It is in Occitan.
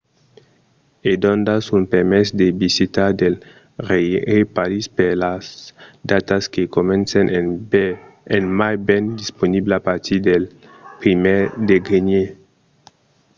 e doncas un permés de visita del rèirepaís per las datas que comencen en mai ven disponible a partir del 1èr de genièr